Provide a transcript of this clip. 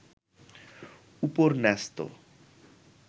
উপর ন্যস্ত